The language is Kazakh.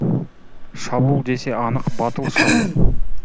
шабуыл десе анық батыл шабуыл